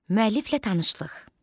Müəlliflə tanışlıq.